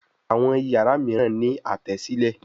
Àwọn iyàrá míràn ní Àtẹ́sílẹ̀